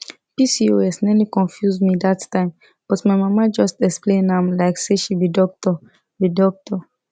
pcos nearly confuse me that time but my mama just explain am like say she be doctor be doctor